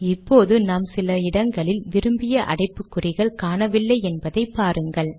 இப்போது நாம் சில இடங்களில் விரும்பிய அடைப்புக்குறிகள் காணவில்லை என்பதை பாருங்கள்